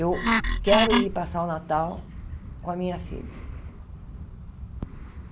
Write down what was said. Eu quero ir passar o Natal com a minha filha.